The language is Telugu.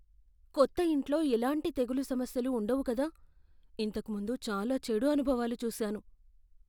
"కొత్త ఇంట్లో ఎలాంటి తెగులు సమస్యలు ఉండవు కదా, ఇంతకు ముందు చాలా చెడు అనుభవాలు చూసాను."